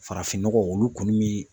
Farafinnɔgɔ olu kɔni bɛ